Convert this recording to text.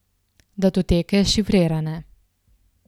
Datoteke šifrirane.